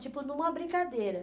Tipo, numa brincadeira.